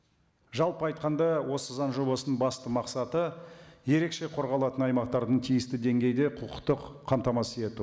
жалпы айтқанда осы заң жобасының басты мақсаты ерекше қорғалатын аймақтардың тиісті деңгейде құқықтық қамтамасыз ету